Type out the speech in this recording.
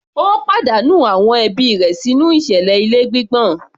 Ó pàdánù àwọn ẹbí rẹ̀ sínú ìṣẹ̀lẹ̀ ilé gbígbọ̀n